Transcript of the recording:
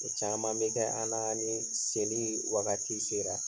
caaman be kɛ an na ni seli wagati sera.